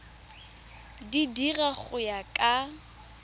di dira go ya ka